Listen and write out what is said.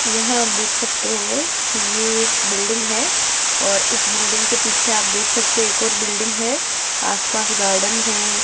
यहां आप देख सकते हैं ये एक बिल्डिंग हैं और इस बिल्डिंग के पीछे आप देख सकते हैं एक और बिल्डिंग हैं आसपास गार्डन हैं।